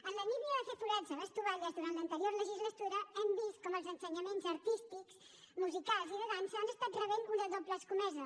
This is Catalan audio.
en la línia de fer forats a les tovalles durant l’anterior legislatura hem vist com els ensenyaments artístics musicals i de dansa han estat rebent una doble escomesa